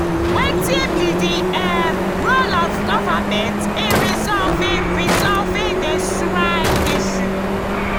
wetin be di um role of government in resolving resolving di srike issue?